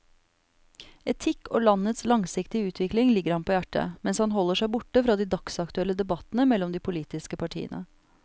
Etikk og landets langsiktige utvikling ligger ham på hjertet, mens han holder seg borte fra de dagsaktuelle debattene mellom de politiske partiene.